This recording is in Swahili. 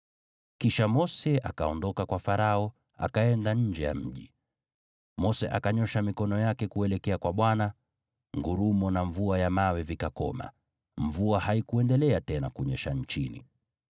Kisha Mose akaondoka kwa Farao akaenda nje ya mji. Mose akanyoosha mikono yake kuelekea kwa Bwana , ngurumo na mvua ya mawe vikakoma, mvua haikuendelea tena kunyesha nchini.